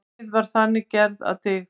Neyð var þannig gerð að dygð.